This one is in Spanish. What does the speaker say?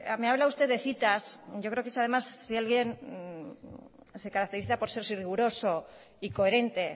me habla usted de cita yo creo eso además si alguien se caracteriza por ser riguroso y coherente